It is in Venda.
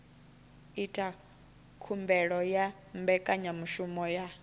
ita khumbelo ya mbekanyamushumo ya